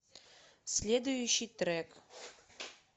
следующий трек